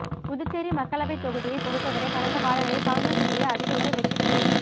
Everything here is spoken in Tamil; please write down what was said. புதுச்சேரி மக்களவைத்தொகுதியை பொறுத்தவரை கடந்த காலங்களில் காங்கிரஸ் கட்சியே அதிகமுறை வெற்றிபெற்றுள்